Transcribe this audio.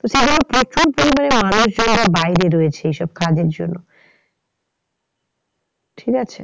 তো সেই জন্য প্রচুর পরিমানে মানুষজনরা বাইরে রয়েছে এই সব কাজের জন্য ঠিক আছে।